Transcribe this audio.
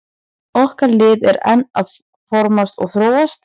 Okkar lið er enn að formast og þróast.